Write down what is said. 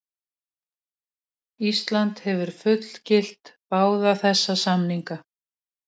Ísland hefur fullgilt báða þessa samninga.